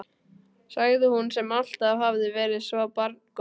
sagði hún, sem alltaf hafði verið svo barngóð.